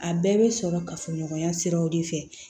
A bɛɛ bɛ sɔrɔ kafoɲɔgɔnya siraw de fɛ